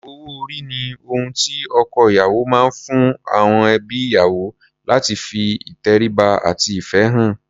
Owó-orí ni ohun tí ọkọ-ìyàwó máa ń fún àọn ẹbí ìyàwó láti fi ìtẹríba àti ìfẹ́ hàn.